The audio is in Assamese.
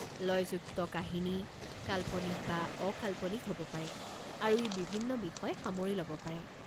লয়যুক্ত কাহিনী কাল্পনিক বা অকাল্পনিক হ'ব পাৰে, আৰু ই বিভিন্ন বিষয় সামৰি ল'ব পাৰে।